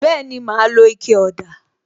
Bẹẹni, ma lo ike ọ̀dà